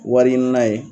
Wari ɲini na ye